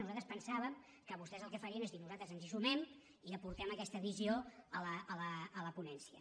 nosaltres pensàvem que vostès el que farien és dir nosaltres ens hi sumem i aportem aquesta visió a la ponència